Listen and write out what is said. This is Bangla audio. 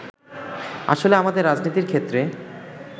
আসলে আমাদের রাজনীতির ক্ষেত্রে